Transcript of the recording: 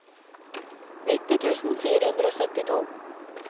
nitti tusen fire hundre og syttito